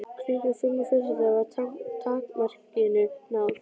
Klukkan fimm á föstudaginn var takmarkinu náð.